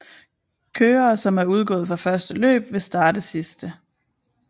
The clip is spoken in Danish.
Kørere som er udgået fra første løb vil starte sidste